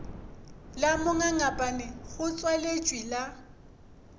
la mongangapane go tswaletšwe la